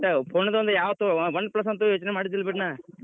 ಒಟ್ phone ಒಂದ್ ಯಾವ್ದ್ Oneplus ಅಂತೂ ಯೋಚ್ನೆ ಮಾಡಿದಿಲ್ಲ ಬಿಡ್ ನಾ.